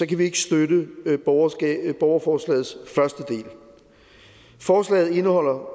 kan vi ikke støtte borgerforslagets første del forslaget indeholder